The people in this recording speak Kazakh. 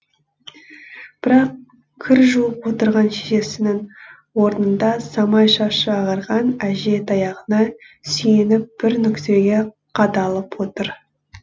бірақ кір жуып отырған шешесінің орнында самай шашы ағарған әже таяғына сүйеніп бір нүктеге қадалып отыр